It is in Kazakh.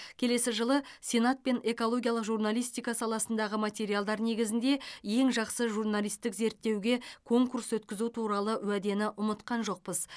келесі жылы сенат пен экологиялық журналистика саласындағы материалдар негізінде ең жақсы журналистік зерттеуге конкурс өткізу туралы уәдені ұмытқан жоқпыз